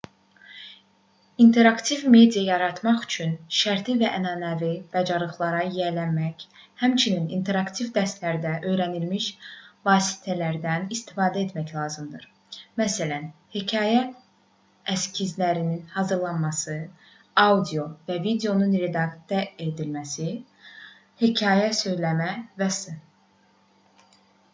i̇nteraktiv media yaratmaq üçün şərti və ənənəvi bacarıqlara yiyələnmək həmçinin interaktiv dərslərdə öyrənilmiş vasitələrdən istifadə etmək lazımdır məsələn hekayə eskizlərinin hazırlanması audio və videonun redaktə edilməsi hekayə söyləmə və s.